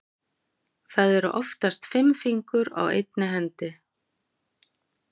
Það eru oftast fimm fingur á einni hendi.